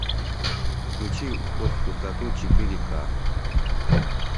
включи вход в пустоту четыре ка